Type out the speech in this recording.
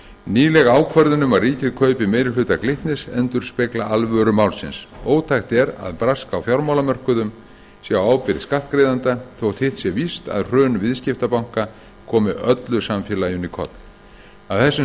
nýleg ákvörðun um að ríkið kaupi meiri hluta glitnis endurspegla alvöru málsins ótækt er að brask á fjármálamörkuðum sé á ábyrgð skattgreiðenda þótt hitt sé víst að hrun viðskiptabanka komi öllu samfélaginu í koll af þessum